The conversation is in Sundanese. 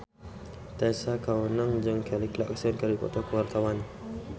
Tessa Kaunang jeung Kelly Clarkson keur dipoto ku wartawan